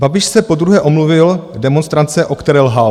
Babiš se podruhé omluvil demonstrantce, o které lhal.